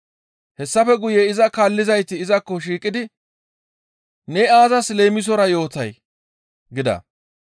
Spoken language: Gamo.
Hessafe guye iza kaallizayti izakko shiiqidi, «Ne aazas leemisora yootay?» gida.